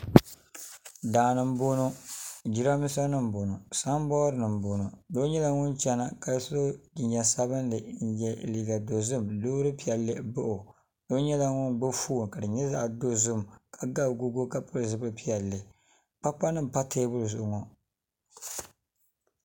Daani n boŋo jiranbiisa nim n boŋo sanbood nim n boŋo doo nyɛla ŋun chɛna ka so jinjɛm sabinli n yɛ liiga dozim loori piɛlli baɣa o doo nyɛla ŋun gbubi foon ka di nyɛ zaɣ dozim ka ga agogo ka pili zipili piɛlli kpakpa nim n pa teebuli zuɣu ŋo